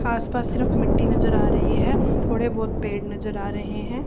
आसपास सिर्फ मिट्टी नज़र आ रही है थोडे बहोत पेड़ नज़र आ रहे हैं।